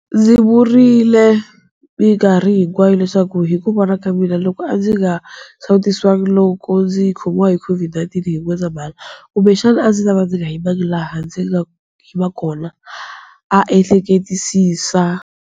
Ndzi vurile mikarhi hinkwayo leswaku hi ku vona ka mina, loko a ndzi nga sawutisiwangi loko ndzi khomiwa hi COVID-19 hi N'wendzamhala, kumbexana a ndzi ta va ndzi nga yimangi laha ndzi nga yima kona, a ehleketisisa.